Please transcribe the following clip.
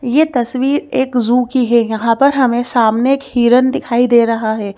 ये तस्वीर एक जू की है यहां पर हमें सामने एक हिरण दिखाई दे रहा है।